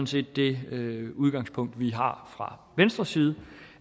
set det udgangspunkt vi har fra venstres side